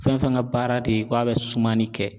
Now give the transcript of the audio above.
Fɛn fɛn ka baara de ko a bɛ sumani kɛ